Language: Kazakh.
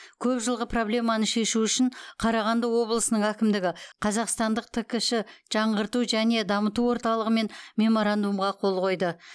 көп жылғы проблеманы шешу үшін қарағанды облысының әкімдігі қазақстандық ткш жаңғырту және дамыту орталығымен меморандумға қол қойды